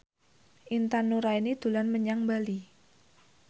Intan Nuraini dolan menyang Bali